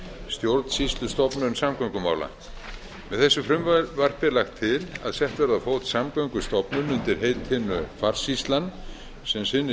stjórnsýslustofnun samgöngumála með þessu frumvarpi er lagt til að sett verði á fót stofnun undir heitinu farsýslan sem sinni